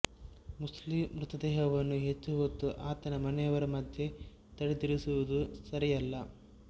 Muslim ಮ್ರತದೇಹವನ್ನು ಹೆಚ್ಚು ಹೊತ್ತು ಆತನ ಮನೆಯವರ ಮಧ್ಯೆ ತಡೆದಿರಿಸುವುದು ಸರಿಯಲ್ಲ